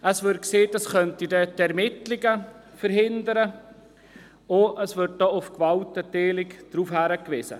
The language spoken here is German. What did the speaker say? Es wurde gesagt, dass die Ermittlungen verhindert werden können, und es wurde auf die Gewaltenteilung verwiesen.